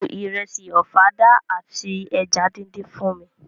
Bu ìrẹsì ọ̀fadà àti eja díndín fún mi!